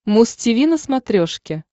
муз тиви на смотрешке